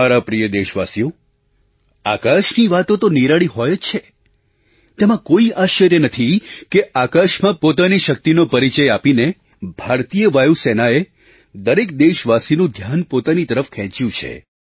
મારા પ્રિય દેશવાસીઓ આકાશની વાતો તો નિરાળી હોય જ છે તેમાં કોઈ આશ્ચર્ય નથી કે આકાશમાં પોતાની શક્તિનો પરિચય આપીને ભારતીય વાયુ સેનાએ દરેક દેશવાસીનું ધ્યાન પોતાની તરફ ખેંચ્યું છે